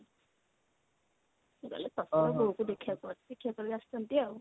ସେ ଖାଲି ତର ତର ହଉଛନ୍ତି ଦେଖିବା ପାଇଁ ଦେଖିବାକୁ ପଳେଇ ଆସିଛନ୍ତି ଆଉ।